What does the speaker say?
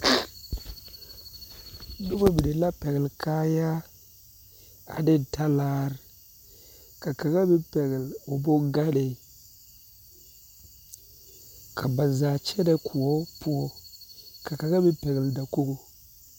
Noba mine la pɛgle kaayaa ane talaare ka kaŋa meŋ pɛgle o bongane ka ba zaa kyɛnɛ koɔ poɔ ka kaŋa meŋ pɛgle dakogo.